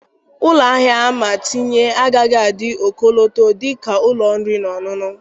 Ụlọ ahịa ama tinye agaghị adị ọkọlọtọ dị ka ụlọ oriri na ọṅụṅụ.